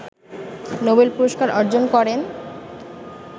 Nobel পুরস্কার অর্জন করেন